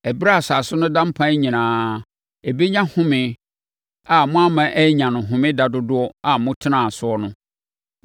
Ɛberɛ a asase no da mpan nyinaa, ɛbɛnya home a moamma annya wɔ Homeda dodoɔ a motenaa soɔ no.